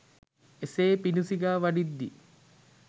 එසේ පිඬු සිඟා වඩිද්දී